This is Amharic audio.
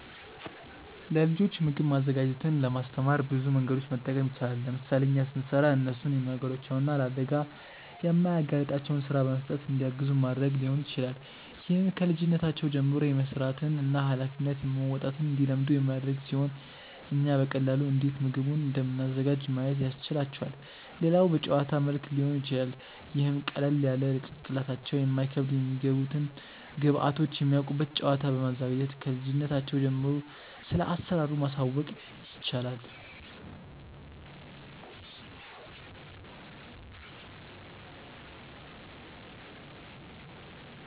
ለልጆች ምግብ ማዘጋጀትን ለማስተማር ብዙ መንገዶችን መጠቀም ይቻላል። ለምሳሌ እኛ ስንሰራ እነርሱን የማይጎዳቸውን እና ለአደጋ የማያጋልጣቸውን ስራ በመስጠት እንዲያግዙን ማድረግ ሊሆን ይችላል። ይህም ከልጅነታቸው ጀምሮ የመስራትን እና ሃላፊነት መወጣትን እንዲለምዱ የሚያደርግ ሲሆን እኛም በቀላሉ እንዴት ምግቡን እንደምናዘጋጅ ማየት ያስችላቸዋል። ሌላው በጨዋታ መልክ ሊሆን ይችላል ይህም ቀለል ያለ ለጭንቅላታቸው የማይከብድ የሚገቡትን ግብዐቶች የሚያውቁበት ጨዋታ በማዘጋጀት ክልጅነታቸው ጀምሮ ስለአሰራሩ ማሳወቅ ይቻላል።